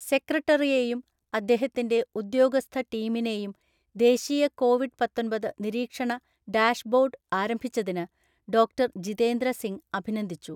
സെക്രട്ടറിയേയും അദ്ദേഹത്തിൻ്റെ ഉദ്യോഗസ്ഥ ടീമിനെയും ദേശീയ കോവിഡ് പത്തൊന്‍പത് നിരീക്ഷണ ഡാഷ്ബോർഡ് ആരംഭിച്ചതിന് ഡോക്‌ടർ ജിതേന്ദ്ര സിംഗ് അഭിനന്ദിച്ചു.